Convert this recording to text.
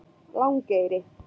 Langeyri